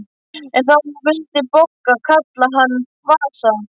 En þá vildi Bogga kalla hann Vasa.